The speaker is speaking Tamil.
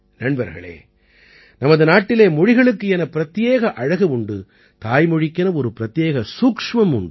நண்பர்களே நமது நாட்டிலே மொழிகளுக்கு என பிரத்யேக அழகு உண்டு தாய்மொழிக்கென ஒரு பிரத்யேக சூட்சுமம் உண்டு